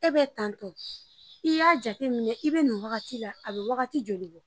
E be tantɔ i y'a jateminɛ i be nin wagati la a be wagati joli bɔ